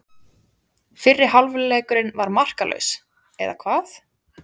Fyrri hálfleikurinn var markalaus, eða hvað?